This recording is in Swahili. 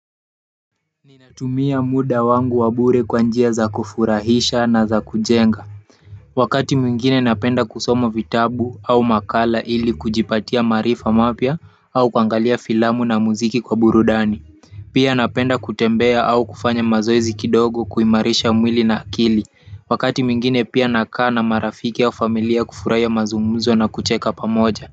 Ninatumia muda wangu wa bure kwa njia za kufurahisha na za kujenga wakati mwingine napenda kusoma vitabu au makala ili kujipatia maarifa mapya au kuangalia filamu na muziki kwa burudani pia napenda kutembea au kufanya mazoezi kidogo kuimarisha mwili na akili wakati mwingine pia nakaa na marafiki au familia kufurahia mazumuzo na kucheka pamoja.